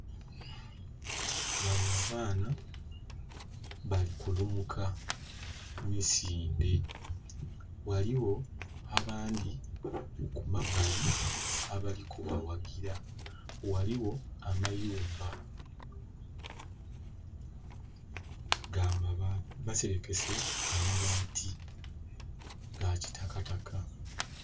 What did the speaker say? Banho abaana bali kulumuka misindhe. Ghaligho abandhi kumabali abali kubaghagira, ghaligho amayumba maserekese mabaati aga kisitaka.